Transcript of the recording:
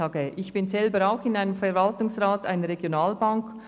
Ich bin selber auch im Verwaltungsrat einer Regionalbank.